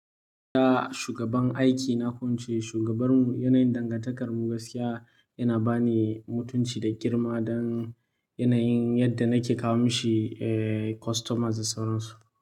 Da shugaban aiki na kwance, shugabanmu, yanayin dangantakarmu gaskiya yana bani mutunci da girma don yanayin yadda nake kawo mashi, eh, customers da sauransu.